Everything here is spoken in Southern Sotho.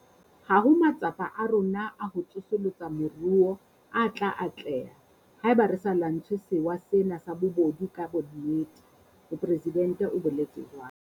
Ha ho matsapa a rona a ho tsosolosa moruo a tla atleha haeba re sa lwantshe sewa sena sa bobodu ka bonnete, mopresidente o boletse jwalo.